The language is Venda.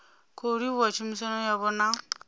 khou livhuwa tshumisano yavho na